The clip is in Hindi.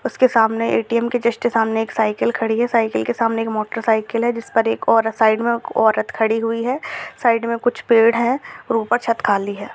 उसके सामने ए.टी.एम के जस्ट सामने एक साइकिल खड़ी है। साइकिल के सामने एक मोटरसाइकल है जिसपर एक औरत साइड में औरत खड़ी हुई है | साइड में कुछ पेड़ हैं और ऊपर छत्त खाली है।